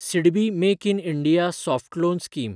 SIDBI make in India soft loan scheme